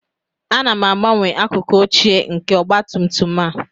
Ana m agbanwe akụkụ ochie nke ọgba tum tum a